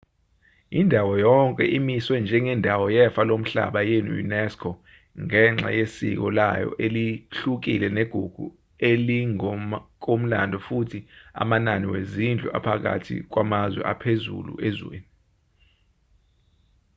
indawo yonke imiswe njengendawo yefa lomhlaba ye-unesco ngenxa yesiko layo elihlukile negugu elingokomlando futhi amanani wezindlu aphakathi kwamanye aphezulu ezweni